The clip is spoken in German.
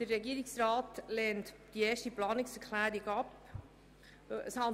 Der Regierungsrat lehnt die erste Planungserklärung ab.